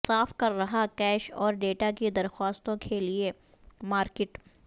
صاف کر رہا کیش اور ڈیٹا کی درخواستوں کھیلیں مارکیٹ